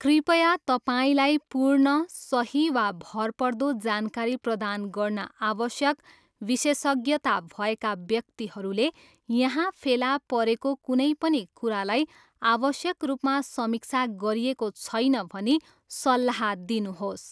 कृपया तपाईँलाई पूर्ण, सही, वा भरपर्दो जानकारी प्रदान गर्न आवश्यक विशेषज्ञता भएका व्यक्तिहरूले यहाँ फेला परेको कुनै पनि कुरालाई आवश्यक रूपमा समीक्षा गरिएको छैन भनी सल्लाह दिनुहोस्।